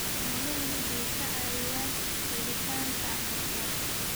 Xooluhu waxay caawiyaan helitaanka cuntada.